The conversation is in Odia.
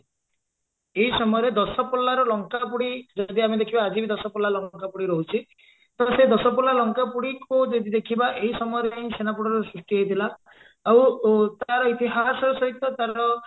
ଏଇ ସମୟରେ ଦଶପଲ୍ଲାର ଲଙ୍କାପୋଡି ଯଦି ଆମେ ଦେଖିବା ଆଜି ବି ଦଶପଲ୍ଲା ଲଙ୍କାପୋଡି ରହୁଛି ତ ସେ ଦଶପଲ୍ଲା ଲଙ୍କାପୋଡିକୁ ଯଦି ଦେଖିବା ଏଇ ସମୟରେ ହିଁ ଛେନାପୋଡର ସୃଷ୍ଟି ହେଇଥିଲା ଆଉ ତାର ଇତିହାସ ସହିତ ତାର